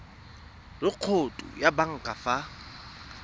le khoutu ya banka fa